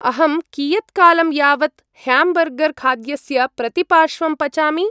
अहं कियत्कालं यावत् ह्याम्बर्गर्‌-खाद्यस्य प्रतिपार्श्वं पचामि?